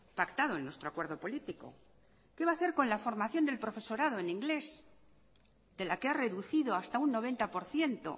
pactado en nuestro acuerdo político qué va a hacer con la formación del profesorado en inglés de la que ha reducido hasta un noventa por ciento